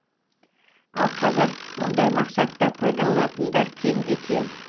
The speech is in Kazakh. ал қазір мұндай мақсатта пайдаланатындар кемде кем